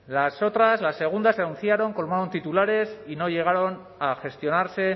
las otras las segundas se anunciaron colmaron titulares y no llegaron a gestionarse